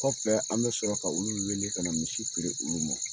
Kɔfɛ an bɛ sɔrɔ ka olu wele ka na misi feere olu ma